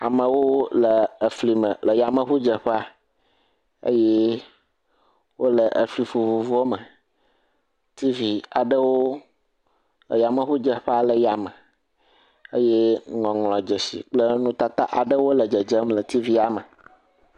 amawo le fli me le yameʋu dzeƒea eye wóle efli vovovowo me tv aɖewo eyameʋu dzeƒea le yáme eye ŋɔŋlɔ dzesi kple nutata bubuawo le dzedzem le tvia me